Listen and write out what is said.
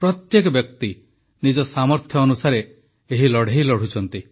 ପ୍ରତ୍ୟେକ ବ୍ୟକ୍ତି ନିଜ ସାମର୍ଥ୍ୟ ଅନୁସାରେ ଏହି ଲଢ଼େଇ ଲଢ଼ୁଛନ୍ତି